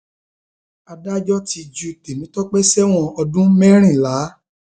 adájọ ti ju tèmitọpẹ sẹwọn ọdún mẹrìnlá